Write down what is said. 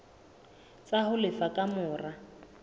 tsa ho lefa ka mora